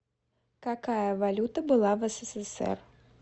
какая валюта была в ссср